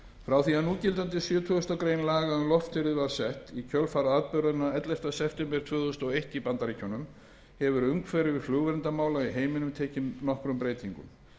frá því að núgildandi sjötugasta grein laga um loftferðir var sett í kjölfar atburðanna ellefta september tvö þúsund og eitt í bandaríkjunum hefur umhverfi flugverndarmála í heiminum tekið nokkrum breytingum